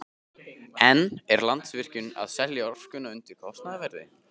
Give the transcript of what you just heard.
En er Landsvirkjun að selja orkuna undir kostnaðarverði?